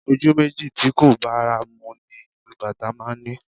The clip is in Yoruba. Ojú méjì tí kò bára mu ni ìlù Bàtá máa ń ní